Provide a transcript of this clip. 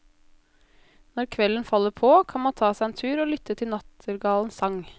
Når kvelden faller på, kan man ta seg en tur og lytte til nattergalens sang.